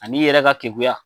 Ani yɛrɛ ka keguya.